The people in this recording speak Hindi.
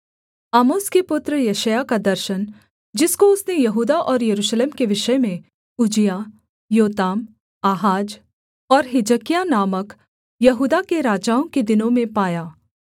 आमोस के पुत्र यशायाह का दर्शन जिसको उसने यहूदा और यरूशलेम के विषय में उज्जियाह योताम आहाज और हिजकिय्याह नामक यहूदा के राजाओं के दिनों में पाया